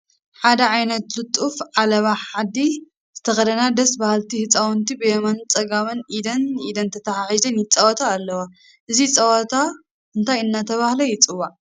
ሓደ ዓይነት ጥሉፍ ዓለባ ዓዲ ዝተኸደና ደስ በሃልቲ ህፃውንቲ ብየማነ ፀጋም ኢድ ንኢድ ተተሓሒዘን ይፃወታ ኣለዋ፡፡ እዚ ፀወታ እንታይ እናተባህለ ይፅዋዕ?